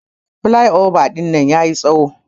Plyova dinnan yayi tsawo.